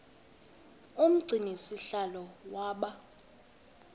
umgcini sihlalo waba